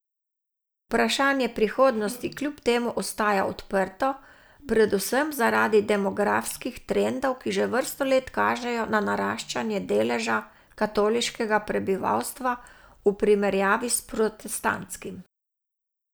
Vprašanje prihodnosti kljub temu ostaja odprto, predvsem zaradi demografskih trendov, ki že vrsto let kažejo na naraščanje deleža katoliškega prebivalstva v primerjavi s protestantskim.